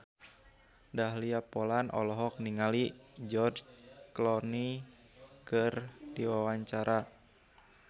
Dahlia Poland olohok ningali George Clooney keur diwawancara